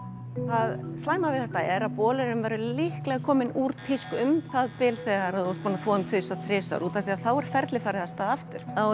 það slæma við þetta er að bolurinn verður líklega kominn úr tísku um það bil þegar þú ert búin nn að þvo hann tvisvar þrisvar þá er ferlið farið af stað aftur þá